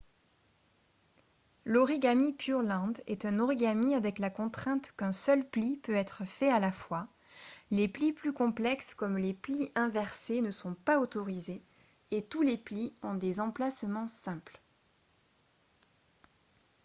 l'origami pureland est un origami avec la contrainte qu'un seul pli peut être fait à la fois les plis plus complexes comme les plis inversés ne sont pas autorisés et tous les plis ont des emplacements simples